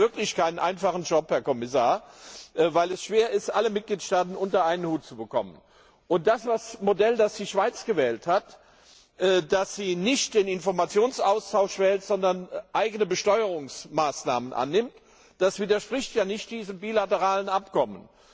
Sie haben wirklich keinen einfachen Job, Herr Kommissar, weil es schwer ist, alle Mitgliedstaaten unter einen Hut zu bekommen. Das Modell, das die Schweiz gewählt hat, dass sie nämlich nicht einen Informationsaustausch praktiziert, sondern eigene Besteuerungsmaßnahmen annimmt, widerspricht ja nicht diesem bilateralen Abkommen.